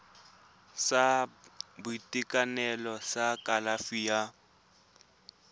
sa boitekanelo sa kalafi ya